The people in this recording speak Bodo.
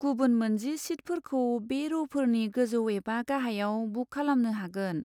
गुबुन मोनजि सिटफोरखौ बे र'फोरनि गोजौ एबा गाहायाव बुक खालामनो हागोन।